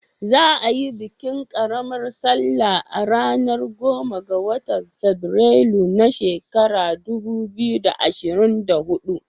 Za a yi bikin ƙaramar salla a ranar goma ga watan afrilu na shekarar dubu biyu da ashirin da hudu.